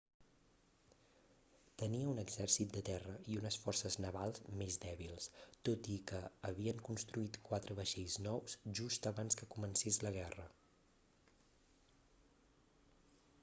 tenia un exèrcit de terra i unes forces navals més dèbils tot i que havien construït quatre vaixells nous just abans que comencés la guerra